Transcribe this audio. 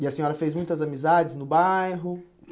E a senhora fez muitas amizades no bairro?